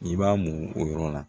I b'a mɔ o yɔrɔ la